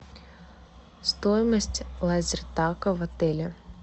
стоимость лазертага в отеле